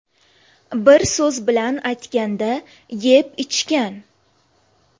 Bir so‘z bilan aytganda, yeb-ichgan.